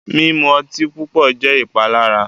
Mimu ọtí pupọ jẹ ìpalára.